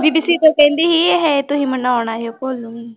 ਬੀਬੀ ਸੀਤੋ ਕਹਿੰਦੀ ਸੀ ਹੈਂ ਤੁਸੀਂ ਮਨਾਉਣ ਆਇਓ ਭੋਲੂ ਨੂੰ।